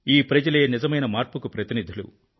ఈ ప్రజలే నిజమైన మార్పుకి ప్రతినిధులు